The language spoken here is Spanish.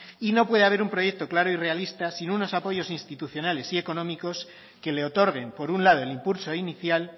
y no puede haber un proyecto claro y realista sin unos apoyos institucionales y económicos que le otorguen por un lado el impulso inicial